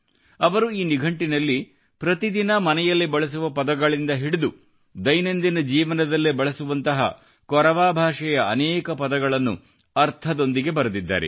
ಅವರು ಈ ನಿಘಂಟಿನಲ್ಲಿ ಪ್ರತಿ ದಿನ ಮನೆಯಲ್ಲಿ ಬಳಸುವ ಪದಗಳಿಂದ ಹಿಡಿದು ದೈನಂದಿನ ಜೀವನದಲ್ಲಿ ಬಳಸುವಂತಹ ಕೊರವಾ ಭಾಷೆಯ ಅನೇಕ ಪದಗಳನ್ನು ಅರ್ಥದೊಂದಿಗೆ ಬರೆದಿದ್ದಾರೆ